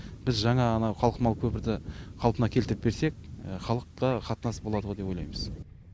біз жаңа анау қалқымалы көпірді қалпына келтіріп берсек халықта қатынас болады ғой деп ойлаймыз